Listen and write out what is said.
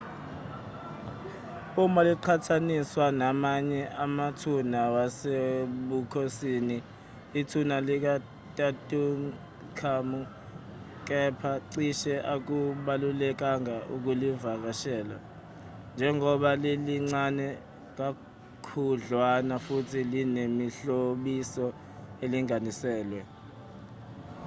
uma liqhathaniswa namanye amathuna wasebukhonsini ithuna likatutankhamun kepha cishe akubalulekanga ukulivakashela njengoba lilincane kakhudlwana futhi linemihlobiso elinganiselwe